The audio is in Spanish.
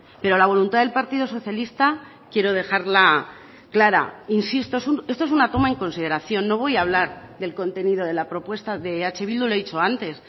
pero la voluntad del partido socialista quiero dejarla clara insisto esto es una toma en consideración no voy a hablar del contenido de la propuesta de eh bildu lo he dicho antes